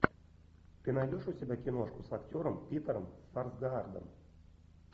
ты найдешь у себя киношку с актером питером сарсгаардом